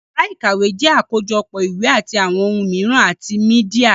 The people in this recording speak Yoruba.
Yàrá ìkàwé jẹ́ àkójọpọ̀ ìwé àti àwọn ohun mìíràn àti mídíà